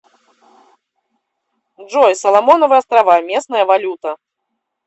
джой соломоновы острова местная валюта